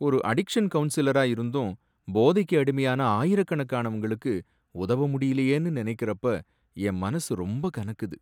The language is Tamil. ஒரு அடிக்ஷன் கவுன்சிலரா இருந்தும், போதைக்கு அடிமையான ஆயிரக்கணக்கானவங்களுக்கு உதவ முடியலையேன்னு நனைக்கிறப்ப என் மனசு ரொம்ப கனக்குது.